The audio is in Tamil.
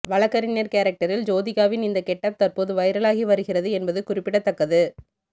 வழக்கறிஞர் கேரக்டரில் ஜோதிகாவின் இந்த கெட்டப் தற்போது வைரலாகி வருகிறது என்பது குறிப்பிடத்தக்கது